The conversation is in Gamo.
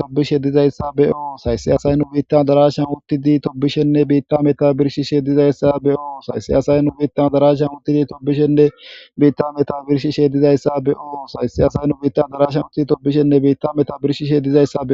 tobbishe dizaysa be7oos,haysi asay nu biitta addarashan uttidi tobbishenne biitta metowa birshishe dizaysa be7oos,